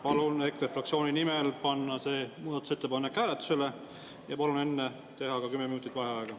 Palun EKRE fraktsiooni nimel panna see muudatusettepanek hääletusele ja palun enne teha ka kümme minutit vaheaega.